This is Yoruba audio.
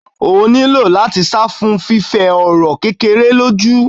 Ó ni lá́ti sá fún fífẹ ọ̀rọ̀ kékeré lójú.